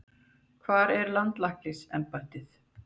Hvar er landlæknisembættið?